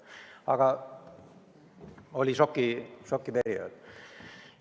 Aga siis oli šokiperiood.